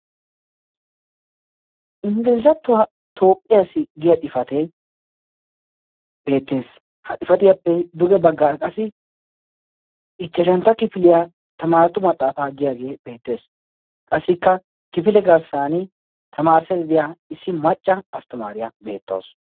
inggilizattuwaa toophphiyaassi giya xifate beettees. ha xifatiyaappe duge baggaara qassi ichchashantta kifiliyaa tamaaratu maxaafaa giyaagee beettees. qassikka kifile garssan tamaarissaydadiya issi macca asttimaariyaa beettawusu.